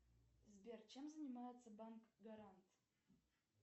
сбер чем занимается банк гарант